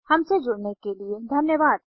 हमसे जुड़ने के लिए धन्यवाद